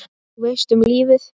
Þú veist, um lífið?